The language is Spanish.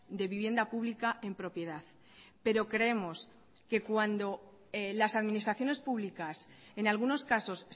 de vivienda pública en propiedad pero creemos que cuando las administraciones públicas en algunos casos